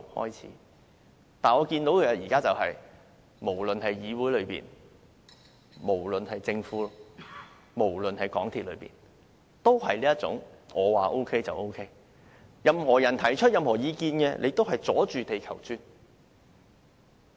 然而，我現在看到的是，無論議會、政府、香港鐵路有限公司均有這種"我說沒有問題就是沒有問題"的態度，任何人提出任何意見也是"阻住地球轉"。